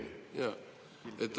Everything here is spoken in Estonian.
Ma jõuan sinna.